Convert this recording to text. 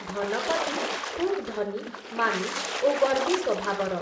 ଧନପତି ଖୁବ୍ ଧନୀ, ମାନି, ଓ ଗର୍ବୀ ସ୍ଵଭାବର ।